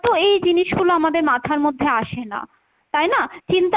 তো এই জিনিসগুলো আমাদের মাথার মধ্যে আসে না, তাই না? চিন্তা,